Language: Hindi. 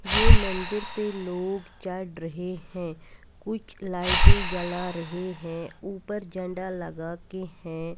यह मंदिर पर लोग चढ़ रहे है कुछ लाइटे जला रहे है उपर झंडा लगाते है।